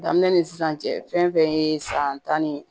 Daminɛ ni sisan cɛ fɛn fɛn ye san tan ni